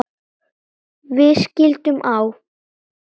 Við skildum á